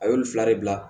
A y'o ni fila de bila